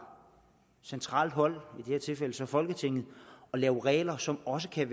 centralt hold i det her tilfælde så folketinget at lave regler som også kan